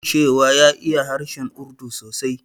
Ya faɗa min cewa ya iya harshen Urdu sosai.